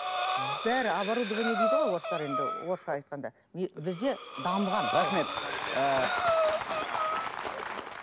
бәрі оборудование дейді ғой орыстар енді орысша айтқанда бізде дамыған рахмет ы